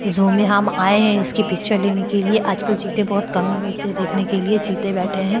झू में हम आये है इसके पिचर लेने के लिये आज कल चिते बहुत कम मिलते है देखने के लिये चिते बैठे है।